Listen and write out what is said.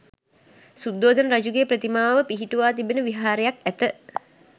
සුද්ධෝදන රජුගේ ප්‍රතිමාව පිහිටුවා තිබෙන විහාරයක් ඇත.